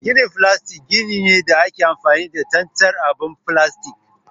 Ginin filastik gini ne da ake amfani da tsantsar ababen filastik.